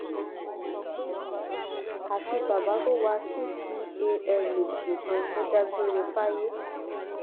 àfi bàbá tó wa ccala nìkan ló dágbére fáyé